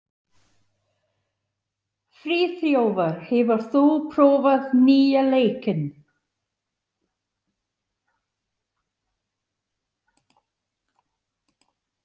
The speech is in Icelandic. Friðþjófur, hefur þú prófað nýja leikinn?